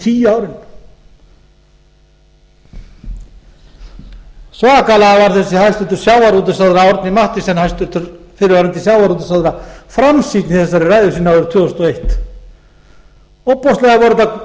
tíu árin svakalega var þessi hæstvirtur sjávarútvegsráðherra árni mathiesen fyrrverandi sjávarútvegsráðherra framsýnni í þessari ræðu sinni árið tvö þúsund og eitt ofboðslega voru þetta mikil og góð